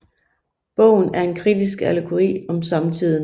Bogen er en kritisk allegori om samtiden